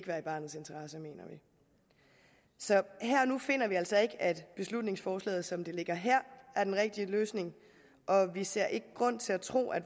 være i barnets interesse så her og nu finder vi altså ikke at beslutningsforslaget som det ligger her er den rigtige løsning og vi ser ikke grund til at tro at